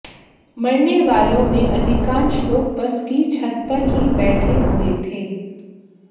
मरने वालों में अधिकांश लोग बस की छत पर ही बैठे हुए थे